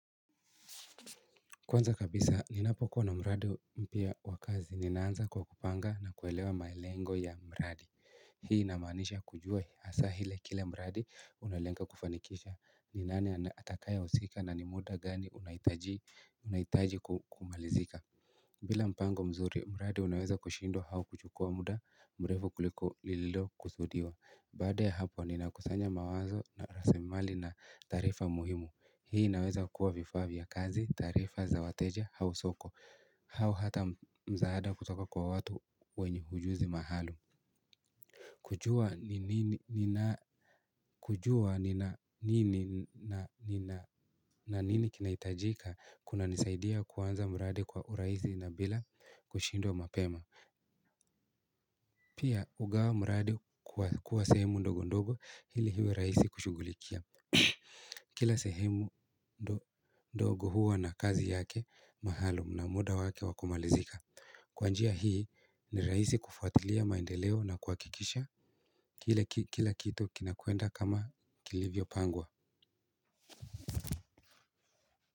Kwanza kabisa, ninapokuwa wa mradi mpya wa kazi, ninaanza kwa kupanga na kuelewa malengo ya mradi. Hii inamaanisha kujua hasa ile kila mradi unalenga kufanikisha. Ni nani atakaye husika na ni muda gani unaitaji kumalizika. Bila mpango mzuri, mradi unaweza kushindwa au kuchukua muda mrefu kuliko lililo kusudiwa. Baada ya hapo, ninakusanya mawazo na rasilimali na taarifa muhimu. Hii inaweza kuwa vifaa vya kazi, taarifa, za wateja, au soko, au hata msaada kutoka kwa watu wenye ujuzi maalum kujua nini na nini kinaitajika kuna nisaidia kuanza mradi kwa urahisi na bila kushindwa mapema pia hugawa mradi kuwa sehemu ndogo ndogo ili iwe rahisi kushugulikia kila sehemu ndogo huwa na kazi yake maalum na muda wake wakumalizika kwa njia hii ni rahisi kufuatilia maendeleo na kuhakikisha kila kitu kila kitu kinakwenda kama kilivyo pangwa.